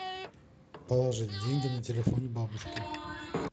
положить деньги на телефон бабушке